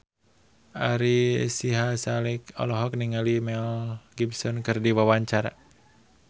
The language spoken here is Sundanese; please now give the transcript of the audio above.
Ari Sihasale olohok ningali Mel Gibson keur diwawancara